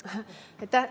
Aitäh!